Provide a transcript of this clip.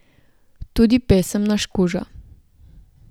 Tudi pesem Naš kuža.